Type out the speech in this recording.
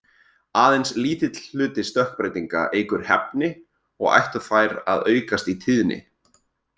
Aðeins lítill hluti stökkbreytinga eykur hæfni, og ættu þær að aukast í tíðni.